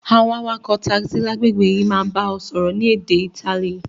Àwon awakò taxi lágbègbè yi máa ba o sọ́rọ́ ni édé Itali